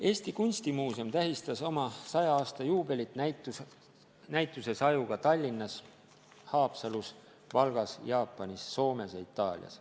Eesti Kunstimuuseum tähistas oma 100. aasta juubelit näitusesajuga Tallinnas, Haapsalus, Valgas, Jaapanis, Soomes ja Itaalias.